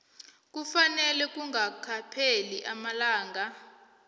kufanele kungakapheli amalanga